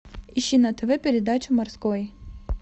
ищи на тв передачу морской